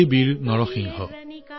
হে সাহসী নৰসিংহ